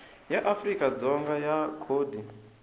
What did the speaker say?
ya afrika dzonga ya khodi